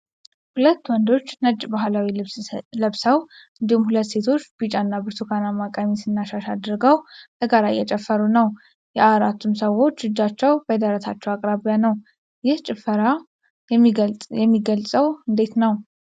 ሁለት ወንዶች ነጭ ባህላዊ ልብስ ለብሰው፣ እንዲሁም ሁለት ሴቶች ቢጫና ብርቱካናማ ቀሚስ እና ሻሽ አድርገው በጋራ እየጨፈሩ ነው:: የአራቱም ሰዎች እጆቻቸው በደረታቸው አቅራቢያ ነው። ይህን ጭፈራ የሚገልጸው እንዴት ነው?